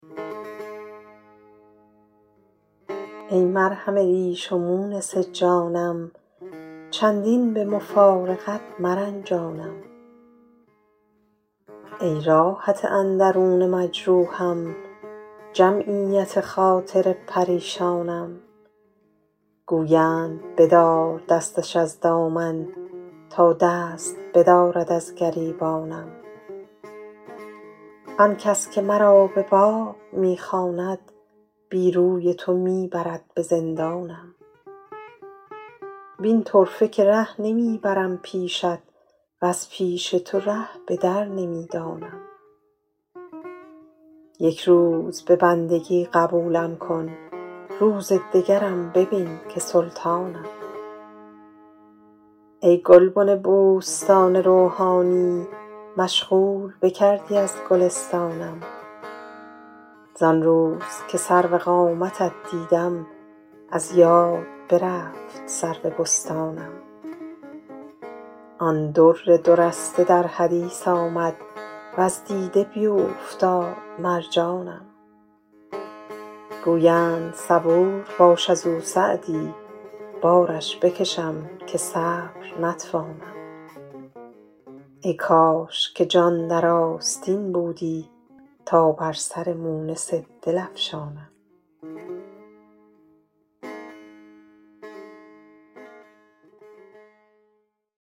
ای مرهم ریش و مونس جانم چندین به مفارقت مرنجانم ای راحت اندرون مجروحم جمعیت خاطر پریشانم گویند بدار دستش از دامن تا دست بدارد از گریبانم آن کس که مرا به باغ می خواند بی روی تو می برد به زندانم وین طرفه که ره نمی برم پیشت وز پیش تو ره به در نمی دانم یک روز به بندگی قبولم کن روز دگرم ببین که سلطانم ای گلبن بوستان روحانی مشغول بکردی از گلستانم زان روز که سرو قامتت دیدم از یاد برفت سرو بستانم آن در دو رسته در حدیث آمد وز دیده بیوفتاد مرجانم گویند صبور باش از او سعدی بارش بکشم که صبر نتوانم ای کاش که جان در آستین بودی تا بر سر مونس دل افشانم